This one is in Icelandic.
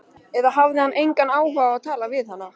Eða hafði hann engan áhuga á að tala við hana?